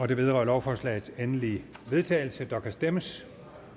det vedrører lovforslagets endelige vedtagelse og der kan stemmes